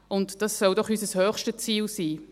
Das sollte doch unser höchstes Ziel sein.